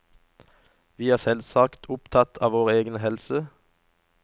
Vi er selvsagt opptatt av vår egen helse.